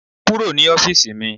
Kúrò ní ọ́fíìsì mi.